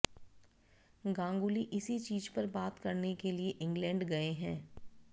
गांगुली इसी चीज पर बात करने के लिए इंग्लैंड गए हैं